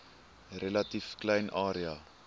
relatief klein area